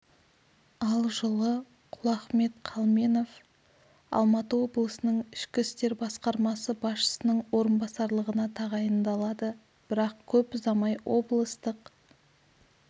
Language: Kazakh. ал жылы құлахмет қалменов алматы облысының ішкі істер басқармасы басшысының орынбасарлығына тағайындалады бірақ көп ұзамай облыстық